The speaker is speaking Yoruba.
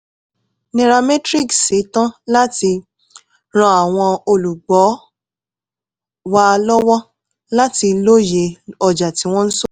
nairametric s ṣe tán láti ran àwọn olùgbọ́ wa lọ́wọ́ láti lóye ọjà tí wọ́n ń ṣòwò